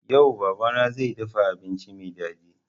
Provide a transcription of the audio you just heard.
Yau baba na zai dafa abinci mai daɗi